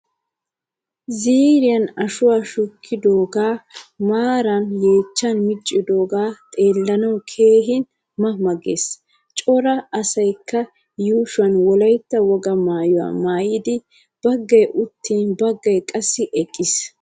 Ziiriyan ashuwaa shukkidoga maarara yeechan miccidoge xeellanawu keehin ma ma gees. Cora asaykka yuushuwan wolaytta wogaa maayuwaa maayidi baggay uttin baggaay qassi eqqiis.